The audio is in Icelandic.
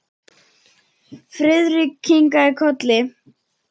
Friðrik kinkaði kolli.